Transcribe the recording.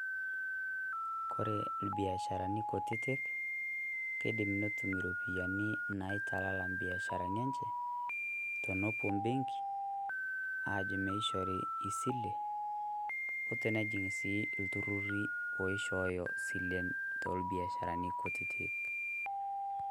Kore ibiasharani kutitik keidim netum iropiyiani naitalala ibiasharani enche tenepuao ebenki aajo meishori esile otenejing' sii ilturrurr loishoyo iropiyiani tolbiasharani kutitik.